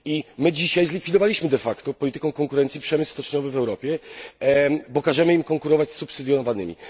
I my dzisiaj zlikwidowaliśmy de facto polityką konkurencji przemysł stoczniowy w Europie, bo każemy im konkurować z przemysłami subsydiowanymi.